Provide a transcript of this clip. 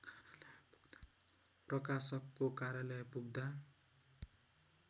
प्रकाशकको कार्यालय पुग्दा